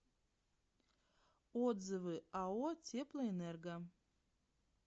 отзывы ао теплоэнерго